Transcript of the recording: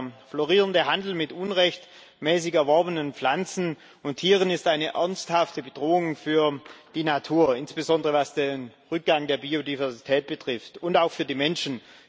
Der florierende Handel mit unrechtmäßig erworbenen Pflanzen und Tieren ist eine ernsthafte Bedrohung für die Natur, insbesondere was den Rückgang der Biodiversität betrifft, und auch für die Menschen.